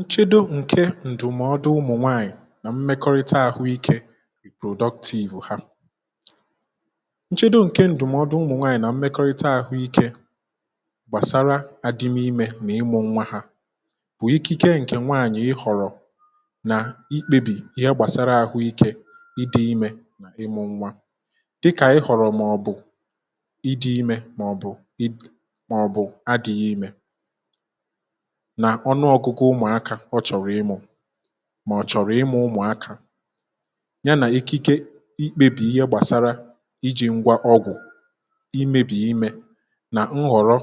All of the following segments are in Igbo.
nchedo ǹke ǹdùmọdụ ụmụ̀ nwaànyị̀ nà mmekọrịta àhụ ikė productiv ha, nchedo ǹke ǹdùmọdụ ụmụ̀ nwaànyị̀ nà mmekọrịta àhụ ikė gbàsara adịmu imė mà ịmụ̇ nwa ha bụ̀ ikike ǹkè nwaànyị ihọ̀rọ̀ nà ikpebì ihe gbàsara àhụ ikė ịdị̇ imė nà ịmụ̇ nwa dịkà ịhọ̀rọ̀ màọ̀bụ̀ ịdị̇ imė màọ̀bụ̀ ị.. màọ̀bụ̀ adị̇ghị̇ imė nà ọnụọgụgụ ụmụ̀akȧ ọ chọ̀rọ̀ ịmụ̇ mà ọ̀ chọ̀rọ̀ ịmụ̇ ụmụ̀akȧ ya nà ekike ikpebì ihe gbàsara ijì ngwa ọgwụ̀ imėbì imė nà nghọ̀rọ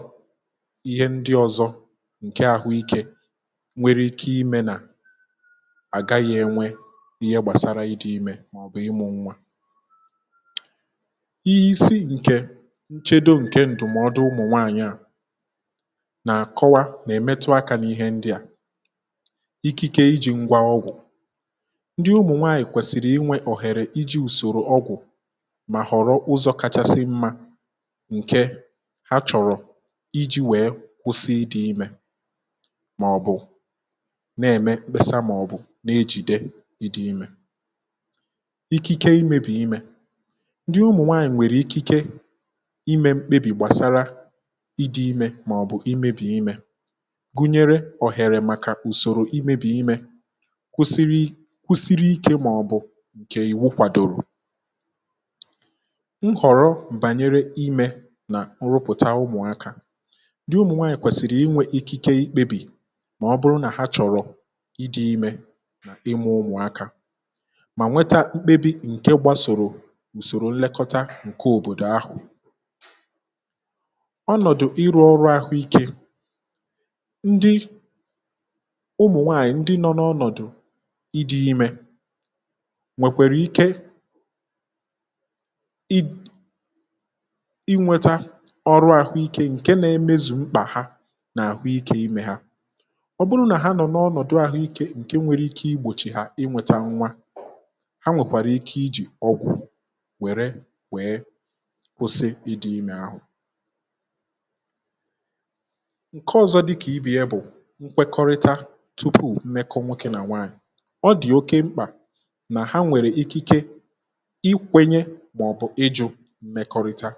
ihe ndị ọ̇zọ̇ ǹke àhụ ikė nwere ike imė nà àgaghị enwe ihe gbàsara ịdị̇ imė màọ̀bụ̀ ịmụ̇ nwȧ isi ǹkè nchedo ǹke ǹdụ̀mọdụ ụmụ̀ nwaànyị à na akọwa na -emetu aka n'ihe ndia, ikike ijì ngwa ọgwụ̀, ndị ụmụ̀nwaànyị̀ kwèsìrì inwė òhèrè iji̇ ùsòrò ọgwụ̀ mà họ̀rọ ụzọ̇ kachasị mma ǹke ha chọ̀rọ̀ iji̇ wèe kwụsị idị imė màọ̀bụ̀ nà-ème mkpesa màọ̀bụ̀ nà-ejìde ịdị iḿė, ikike imėbì imė, ndị ụmụ̀nwaànyị̀ nwèrè ikike imė mkpebì gbàsara i̇dị imė màọ̀bụ̀ imėbì imė gụnyere ohere maka ùsòrò imėbì imė kwụsiri kwụsiri ikė màọ̀bụ̀ ǹkè ìwu kwàdòrò nhọ̀rọ̀ bànyere imė nà nrụpụ̀ta ụmụ̀akȧ, ndị ụmụ̀nwaànyị̀ kwèsìrì inwė ikike ikpebì màọ̀bụrụ nà ha chọ̀rọ̀ ịdị̇ imė ma imu ụmụ̀akȧ mà nweta mkpebì ǹkè gbasòrò ùsòrò nlekọta ǹkè òbòdò ahụ̀, ọnọ̀dụ̀ ịrụ̇ ọrụ àhụikė ndị ụmụ̀ nwaànyị̀ ndị nọ n’ọnọ̀dụ̀ idi imė nwèkwàrà ike i inweta ọrụ àhụikė ǹke na-emezu mkpà ha n’àhụike imė ha ọ bụrụ nà ha nọ̀ n’ọnọ̀dụ̀ àhụike ǹke nwere ike igbòchi ha inwėta nwa ha nwèkwàrà ike iji ọgwụ̀ wère wèe kwụsị ịdị̇ imė ahụ nke ọzọ dịka ibe ya bu nkwekọrita tupu mmekọ nwoke nà nwaànyị̀, ọ dị̀ oke mkpà nà ha nwèrè ikike ikwenye màọbụ̀ ịjụ̇ mmekọrịta